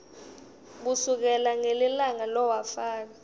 kusukela ngelilanga lowafaka